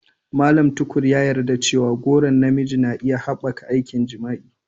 Mallam Tukur ya yi yarda cewa goron na miji na iya haɓaka aikin jima'i.